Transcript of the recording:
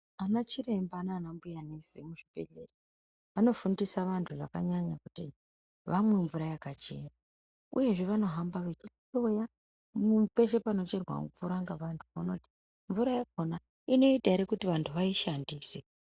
Ana chiremba nanambuya nesi muzvi bhedhlera vanofundisa vanhu kuti vamwe mvura yakachena, uyezve vanohamba vachihloya peshe pano cherwa mvura ngavanhu kuona kuti mvura yakhona inoita here kuti vantu vaishandise.